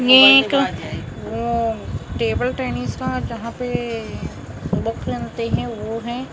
ये एक अम्म टेबल टेनिस का जहाँ पे सोलो फलेनते है वो है और यहाँ --